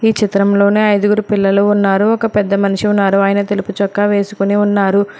ఈ చిత్రంలోని ఐదుగురు పిల్లలు ఉన్నారు ఒక పెద్ద మనిషి ఉన్నారు ఆయన తెలుపుచొక్క వేసుకొని ఉన్నారు.